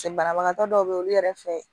paseke banabagatɔ dɔw be yen olu yɛrɛ fɛ